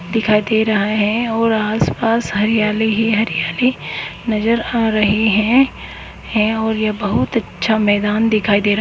दिखाई दे रहा हैऔर आसपास हरियाली ही हरियाली नजर आ रही है और यह बहुत अच्छा मैदान दिखाई दे रहा--